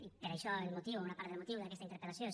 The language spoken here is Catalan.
i per això el motiu o una part del motiu d’aquesta interpel·lació és